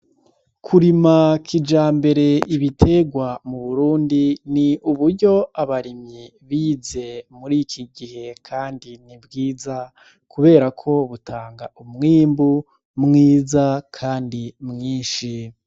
Kurima kijambere ibiterwa mu Burundi ni uburyo abarimyi bize muri iki gihe, kandi ni bwiza, kubera ko butanga umwimbu mwiza, kandi mwinshi.